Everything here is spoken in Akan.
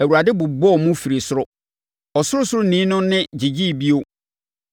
Awurade bobɔɔ mu firii soro; Ɔsorosoroni no nne gyegyeeɛ bio.